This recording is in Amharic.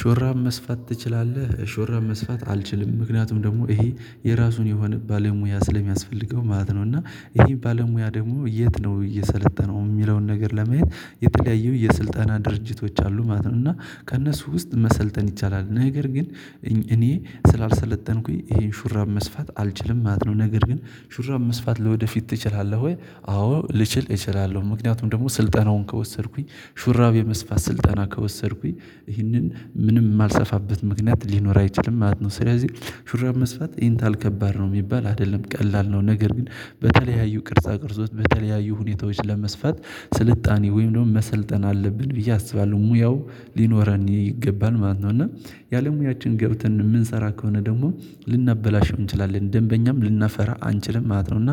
ሹራብ መስፋት ትችላለህ? ሹራብ መስፋት አልችልም ምክንያቱም ደግሞ ይሄ የራሱን የሆነ ባለሙያ ስለሚያስፈልገው ማለት ነው። እና ይሄ ባለሙያ ደግሞ የት ነው እየሰለጠነው የሚለውን ነገር ለማየት የተለያዩ የስልጠና ድርጅቶች አሉ ማለት ነው። እና ከእነሱ ውስጥ መሰልጠን ይቻላል ነገር ግን እኔ ስላልሰለጠንኩኝ ይሄን ሹራብ መስፋት አልችልም ማለት ነው። ነገር ግን ሹራብ መስፋት ለወደፊት ትችላለህ ወይ? አዎ ልችል እችላለሁ ምክንያቱም ደግሞ ስልጠናውን ከወሰድኩኝ ሹራብ የመስፋት ስልጠና ከወሰድኩኝ ይህንን ምንም የማልሰፋበት ምክንያት ሊኖር አይችልም ማለት ነው። ስለዚህ ሹራብ መስፋት ይሄን ታህል ከባድ ነው የሚባል አይደለም ቀላል ነው። ነገር ግን በተለያዩ ቅርጻ ቅርጾች በተለያዩ ሁኔታዎች ለመስፋት ስልጣኔ ወይም ደግሞ መሰልጠን አለብን ብዬ አስባለሁ ሙያው ሊኖረን ይገባል ማለት ነው። እና ያለሙያችን ገብተን የምንሰራ ከሆነ ደግሞ ልናበላሸው እንችላለን ደንበኛም ልናፈራ አንችልም ማለት ነው። እና